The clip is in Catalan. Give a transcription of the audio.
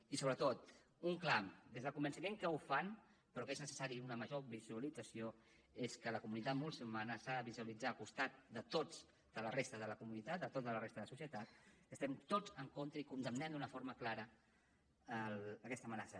i sobretot un clam des del convenciment que el fan però que és necessària una major visualització és que la comunitat musulmana s’ha de visualitzar al costat de tots de la resta de la comunitat de tota la resta de la societat que estem tots en contra i condemnem d’una forma clara aquesta amenaça